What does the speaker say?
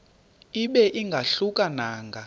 ibe ingahluka nanga